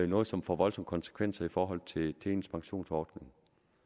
noget som får voldsomme konsekvenser i forhold til ens pensionsordning